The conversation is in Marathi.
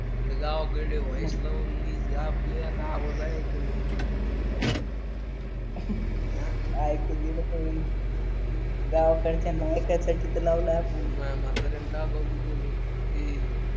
तिकडे गावाकडे व्हॉइस लावून मी जा आपल्या आता आवाज ऐकेन ना काहीच गावाकडचे नाय तर त्याची तर लावले आपुन माय म्हाताऱ्याने